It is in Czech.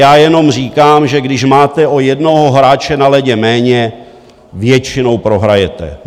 Já jenom říkám, že když máte o jednoho hráče na ledě méně, většinou prohrajete.